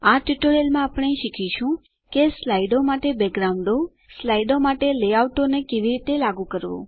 આ ટ્યુટોરીયલમાં આપણે શીખીશું કે સ્લાઇડો માટે બેકગ્રાઉન્ડો સ્લાઇડો માટે લેઆઉટો ને કેવી રીતે લાગુ કરવું